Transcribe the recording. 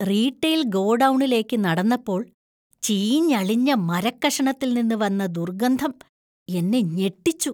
Retail ഗോഡൌണിലേക്ക് നടന്നപ്പോൾ ചീഞ്ഞളിഞ്ഞ മരക്കഷണത്തിൽ നിന്ന് വന്ന ദുർഗന്ധം എന്നെ ഞെട്ടിച്ചു.